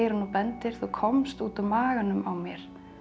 og bendir þú komst út úr maganum á mér